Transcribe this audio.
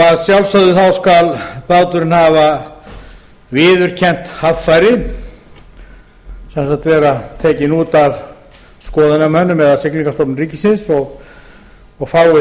að sjálfsögðu skal báturinn hafa viðurkennt haffæri sem sagt vera tekinn út af skoðunarmönnum eða siglingastofnun ríkisins og fái